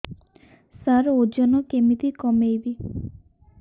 ସାର ଓଜନ କେମିତି କମେଇବି